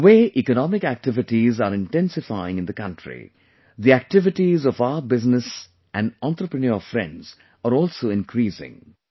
The way economic activities are intensifying in the country, the activities of our business and entrepreneur friends are also increasing